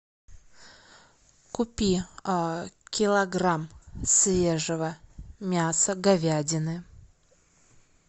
купи килограмм свежего мяса говядины